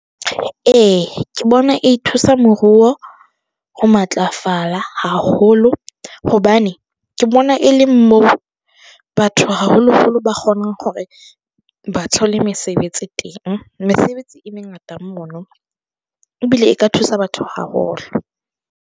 E, ke bona e thusa moruo ho matlafala haholo hobane ke bona, e leng mo batho haholo-holo. Ba kgonang hore, ba thole mesebetsi teng, mesebetsi e mengata mono ebile e ka thusa batho haholo.